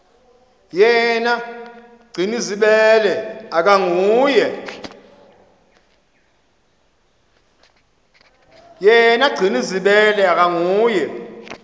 yena gcinizibele akanguye